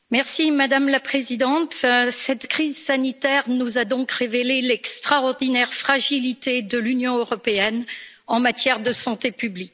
Madame la Présidente, cette crise sanitaire nous a donc révélé l'extraordinaire fragilité de l'Union européenne en matière de santé publique.